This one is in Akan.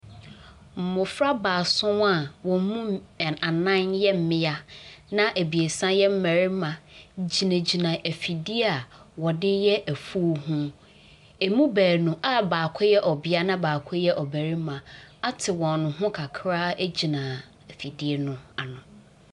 Mmɔfra baason a wɔn mu ɛ anan yɛ mmea, na abiesa yɛ mmarima gyinagyina afidie a wɔde yɛ afuo ho. Ɛmu baanu a baako yɛ ɔbea na baako yɛ ɔbarima ate wɔn ho kakra gyina afidie no ano.